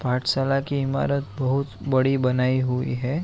पाठशाला की ईमारत बहुत बड़ी बनायी हुई है।